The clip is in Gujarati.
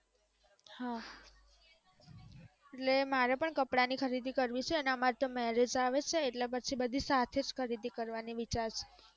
હા એટલે મારે પણ કપડાની ખરીદી કરવી છે અને અમારે તો મેરેજ આવે છે એટલે પછી બધી સાથે જ ખરીદી કરવાની વિચાર છે